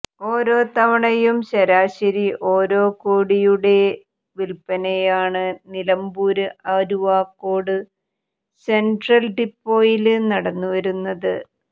ഓരോ തവണയും ശരാശരി ഓരോ കോടിയുടെ വില്പ്പനയാണ് നിലമ്പൂര് അരുവാക്കോട് സെന്ട്രല് ഡിപ്പോയില് നടന്നുവരുന്നത്